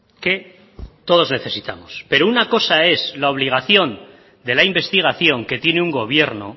que todos necesitamos pero una cosa es la obligación de la investigación que tiene un gobierno